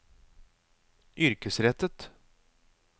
yrkesrettet